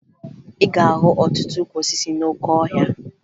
Ị ga-ahụ ọtụtụ ukwu osisi n'oke ọhịa